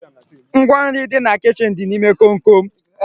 Ngwa nri dị na kichin dị n'ime komkom